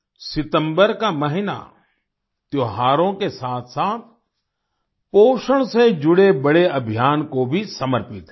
सितम्बर का महीना त्योहारों के साथसाथ पोषण से जुड़े बड़े अभियान को भी समर्पित है